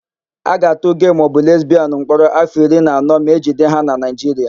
A ga-atụ gee maọbụ lesbịanụ mkpọrọ áfọ̀ iri na anọ ma ejide ha na Naịjiria.